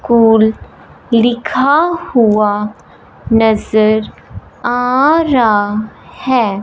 Cool लिखा हुआ नजर आ रहा हैं।